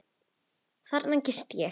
Þarna gisti ég.